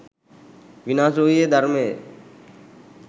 විනාශ වූයේ ධර්මයය.